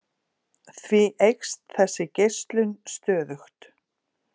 Því eykst þessi geislun stöðugt.